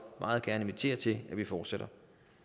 meget gerne invitere til at vi fortsætter